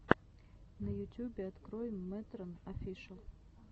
на ютюбе открой мэтрэн офишэл